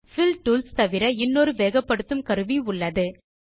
bill tools தவிர இன்னொரு வேகப்படுத்தும் கருவி உள்ளது